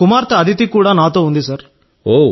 నా కుమార్తె అదితి కూడా నాతో ఉంది సార్